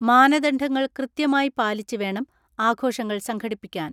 മാനദണ്ഡങ്ങൾ കൃത്യമായി പാലിച്ച് വേണം ആഘോഷങ്ങൾ സംഘടിപ്പിക്കാൻ.